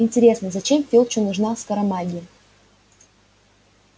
интересно зачем филчу нужна скоромагия